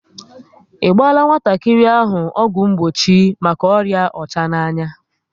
I gbaala nwatakịrị ahụ ọgwụ mgbochi maka ọrịa ọchananya?